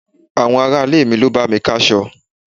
Àwọn ará-ilé mi ló bá mi ká'sọ.